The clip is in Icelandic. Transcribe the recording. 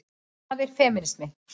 Hvað er femínismi?